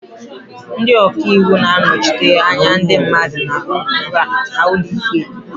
Ndị ọka iwu na-anọchite anya ndị mmadụ na okwu ha n'ụlọ ikpe.